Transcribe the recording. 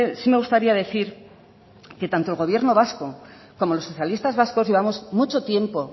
sí me gustaría decir que tanto el gobierno vasco como los socialistas vascos llevamos mucho tiempo